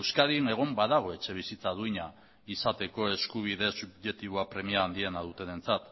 euskadin egon badago etxebizitza duina izateko eskubide subjektiboa premia handiena dutenentzat